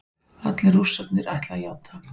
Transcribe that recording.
Allir Rússarnir ætla að játa